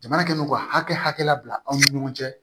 Jamana kɛlen don ka hakɛ la an ni ɲɔgɔn cɛ